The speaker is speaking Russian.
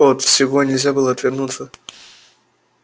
от всего нельзя было отвернуться